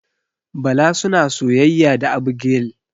Bala suna soyayya da Abigail.